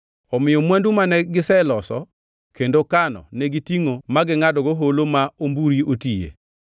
Omiyo mwandu mane giseloso kendo kano negitingʼo magingʼadogo Holo ma Omburi otiye.